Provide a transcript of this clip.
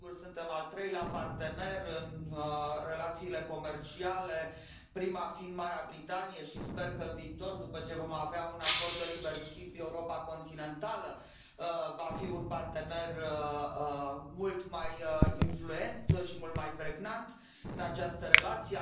Sigur, suntem al treilea partener în relațiile comerciale, primul fiind Marea Britanie, și, sper că în viitor, după ce vom avea un acord de liber schimb, Europa continentală va fi un partener mult mai influent și mult mai pregnant în această relație.